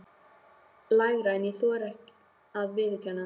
Lægra en ég þori að viðurkenna.